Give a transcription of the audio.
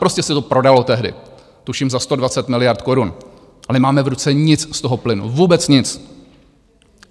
Prostě se to prodalo tehdy tuším za 120 miliard korun a nemáme v ruce nic z toho plynu, vůbec nic.